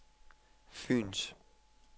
Fyens